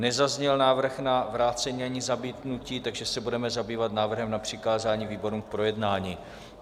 Nezazněl návrh na vrácení ani zamítnutí, takže se budeme zabývat návrhem na přikázání výborům k projednání.